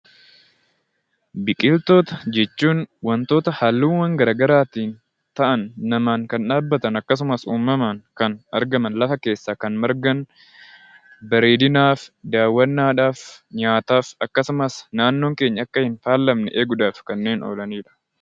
Biqiltoota jechuun wantoota halluu magariisa qaban namaan kan dhaabbatan kan akkasumas uumamaan argamanlafa keessaa kan margan bareedinaaf, daawwannaadhaaf, nyaataaf akkasumas naannoon keenya hin faalamne eeguudhaaf kanneen oolanidha.